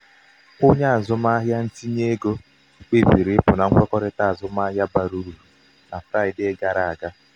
onye azụmahịa um ntinye ego um kpebiri ịpụ na um nkwekọrịta azụmahịa bara uru na fraịdee gara aga.